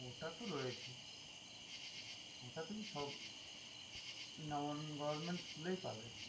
ওটা তো রয়েছেই ওটা তুমি সব government school এই পাবে